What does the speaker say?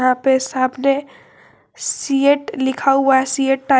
यहां पे सामने सीएट लिखा हुआ है सीएट टाय --